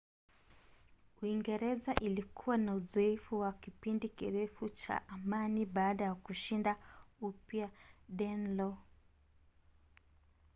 uingereza ilikuwa na uzoefu wa kipindi kirefu cha amani baada ya kushinda upya danelaw